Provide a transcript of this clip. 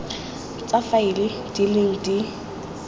tsa faele di leng di